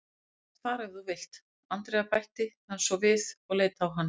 Þú mátt fara ef þú vilt, Andrea bætti hann svo við og leit á hana.